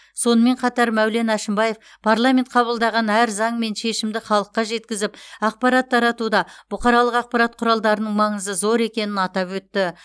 сонымен қатар мәулен әшімбаев парламент қабылдаған әр заң мен шешімді халыққа жеткізіп ақпарат таратуда бұқаралық ақпарат құралдарының маңызы зор екенін атап өтті